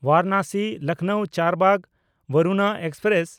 Varanasi Lucknow Charbagh Varuna express